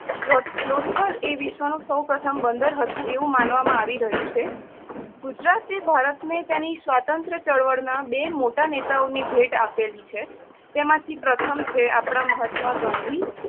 લો~લોથલ એ વિશ્વ નો સોવપ્રથમ બદંર હતું એવું માનવામાં આવી રહ્યું છે. ગુજરાત એ ભારત ને તેની સ્વાતંત્ર ચળવળ ના બે મોટા નેતાઓની ભેટ આપેલી છે. તેમાંથી પ્રથમ છે આપણાં મહાત્મા ગાંધી